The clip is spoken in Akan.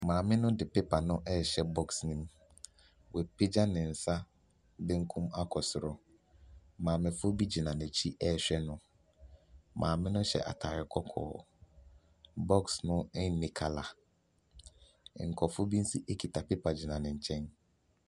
Maame no de pepa no ɛhyɛ bɔx no mu. Wapagya ne nsa benkum akɔ soro, maamefoɔ bi gyina n'akyi ɛɛhwɛ no, maame no hyɛ ataade kɔkɔɔ, bɔx no nni kala, nkorɔfoɔ bi nso kita pepa egyina ne nkyɛn.